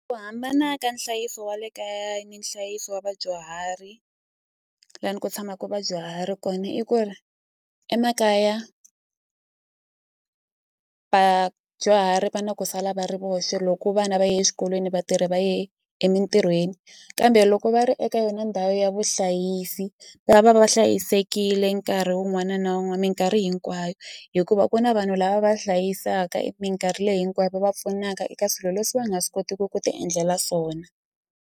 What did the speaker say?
Ku hambana ka nhlayiso wa le kaya ni nhlayiso wa vadyuhari lani ku tshamaku vadyuhari kona i ku ri emakaya vadyuhari va na ku sala va ri voxe loko vana va ye exikolweni vatirhi va ye emintirhweni kambe loko va ri eka yona ndhawu ya vuhlayisi va va va hlayisekile nkarhi wun'wana na minkarhi hinkwayo hikuva ku na vanhu lava va hlayisaka minkarhi leyi hinkwayo va va pfunaka eka swilo leswi va nga swi kotiki ku ti endlela swona.